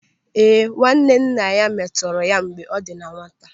Ee, nwanne nna ya metọrọ ya mgbe ọ dị na nwata.